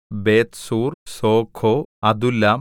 Bethzur Socoh Adullam